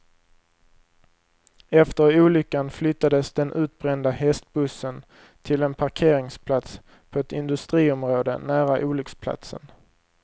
Efter olyckan flyttades den utbrända hästbussen till en parkeringsplats på ett industriområde nära olycksplatsen.